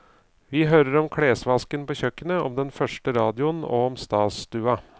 Vi hører om klesvasken på kjøkkenet, om den første radioen og om stasstua.